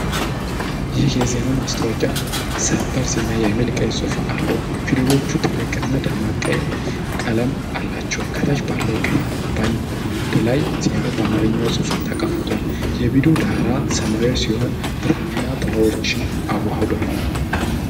ይህ የዜና ማስታወቂያ "ሰበር ዜና" የሚል ቀይ ጽሑፍ አለው። ፊደሎቹ ትልቅና ደማቅ ቀይ ቀለም አላቸው። ከታች ባለው ቀይ ባንድ ላይ ዜናው በአማርኛ ጽሑፍ ተቀምጧል። የቪዲዮው ዳራ ሰማያዊ ሲሆን ብርሃንና ጥላዎችን አዋህዷል።